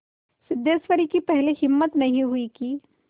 सिद्धेश्वरी की पहले हिम्मत नहीं हुई कि